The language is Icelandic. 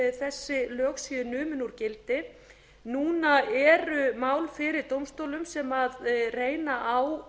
þessi lög séu numin úr gildi núna eru mál fyrir dómstólum sem reyna á